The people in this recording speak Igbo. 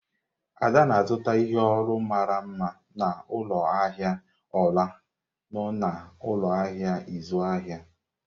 Ada na-azụta ihe olu mara mma n'ụlọ ahịa ọla nno na ụlọ ahịa ịzụ ahịa.